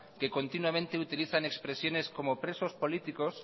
que continuamente utilizan expresiones como presos políticos